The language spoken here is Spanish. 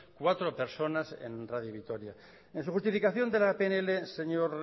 cuatro personas en radio vitoria en su justificación de la pnl señor